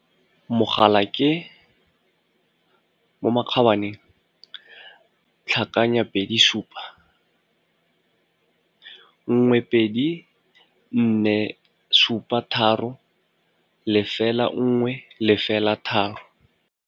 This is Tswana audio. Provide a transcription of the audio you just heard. Mogala ke plus 277 12 473 0103.